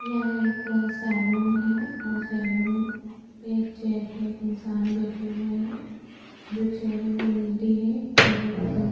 यह एक सेलून है और सैलून पे चेयर पे एक इन्सान बैठे हुए हैं जो चेयर है वो नीली है और एक --